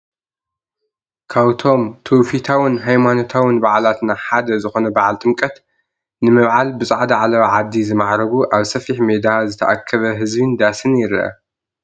ካብቶም ትውፊታውን ሃይማኖታውን ባዓላትና ሓደ ዝኾነ በዓል ጥምቀት ንምብዓል ብፃዕዳ ዓለባ ዓዲ ዝማዕረጉ ኣብ ሰፊሕ ሜዳ ዝተኣከበ ህዝቢን ዳስን ይርአ፡፡